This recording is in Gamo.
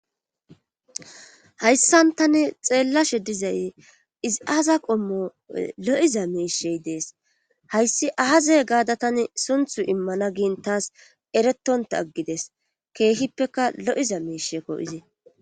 hayssan tani xeellashe dizay iziaaza qommo lo7iza meishey dees hayssi ahaza gaada tani sunthu immana gin taas eretonta aggides keehippeka lo7iza miishekko izi